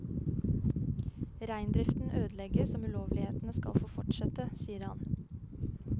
Reindriften ødelegges om ulovlighetene skal få fortsette, sier han.